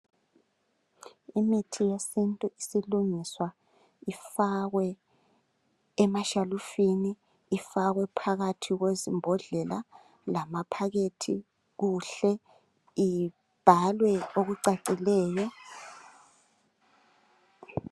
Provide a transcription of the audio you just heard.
Imithi yesintu isilungiswa ifakwe emashelufini ifakwephakathi kwezibhodlela lamaphakethi kuhle ibhaliwe okucacileyo